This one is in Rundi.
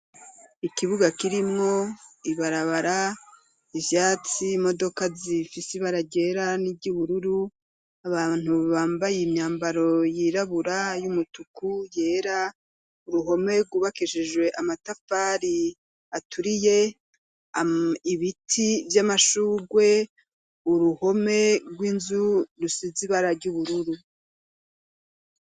Ikibuga kirimwo ibarabara ,ivyatsi ,imodoka zifise ibara ryera n'iry'ubururu, abantu bambaye imyambaro yirabura ,y'umutuku ,yera uruhome rwubakishijwe amatafari aturiye ,ibiti vy'amashurwe uruhome rw'inzu rusize ibara ry' ubururu.